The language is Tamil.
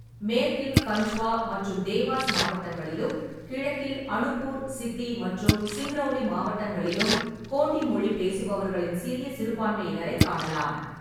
மேற்கில் கண்ட்வா மற்றும் தேவாஸ் மாவட்டங்களிலும், கிழக்கில் அனுப்பூர், சித்தி மற்றும் சிங்ரௌலி மாவட்டங்களிலும் கோண்டி மொழி பேசுபவர்களின் சிறிய சிறுபான்மையினரைக் காணலாம்.